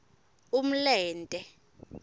umlente